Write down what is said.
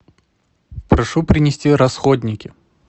прошу принести расходники